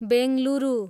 Bengaluru